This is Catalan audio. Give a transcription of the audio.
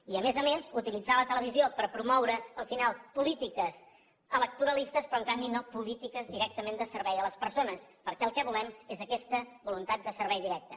i a més a més utilitzar la televisió per promoure al final polítiques electoralistes però en canvi no polítiques directament de servei a les persones perquè el que volem és aquesta voluntat de servei directe